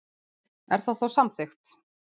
Er það þá samþykkt?